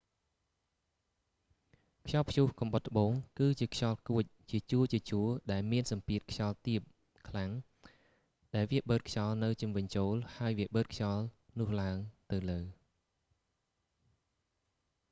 ខ្យល់ព្យុះគំបុតត្បូង គឺជាខ្យល់គួចជាជួរៗដែលមានសម្ពាធខ្យល់ទាបខ្លាំងដែលវាបឺតខ្យល់នៅជុំវិញចូល ហើយវាបឺតខ្យល់នោះឡើងទៅលើ